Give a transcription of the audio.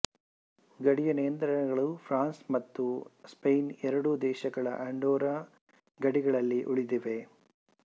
ಗಡಿಯ ನಿಯಂತ್ರಣಗಳು ಫ್ರಾನ್ಸ್ ಮತ್ತು ಸ್ಪೇನ್ ಎರಡೂ ದೇಶಗಳ ಅಂಡೋರ್ರಾ ಗಡಿಗಳಲ್ಲಿ ಉಳಿದಿವೆ